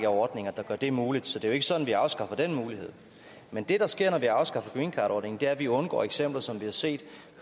ordninger der gør det muligt så det er ikke sådan at vi afskaffer den mulighed men det der sker når vi afskaffer greencardordningen er at vi undgår eksempler som vi har set